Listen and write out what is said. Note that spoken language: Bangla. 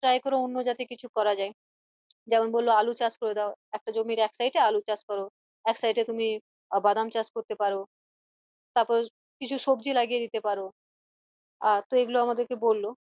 Try করো অন্য কিছু যাতে করা যায় যেমন বললো আলু চাষ করে দাও একটা জমির এক side এ আলু চাষ করো এক side এ তুমি বাদাম চাষ করতে পারো তারপর কিছু সবজি লাগিয়ে দিতে পারো আহ তো এগুলো আমাদেরকে বললো